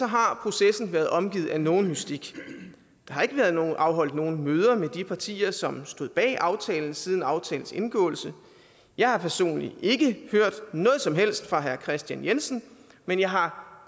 har processen været omgivet af nogen mystik der har ikke været afholdt nogen møder med de partier som stod bag aftalen siden aftalens indgåelse jeg har personligt ikke hørt noget som helst fra herre kristian jensen men jeg har